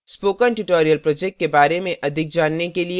spoken tutorial project के बारे में अधिक जानने के लिए